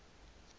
ka nna a ba le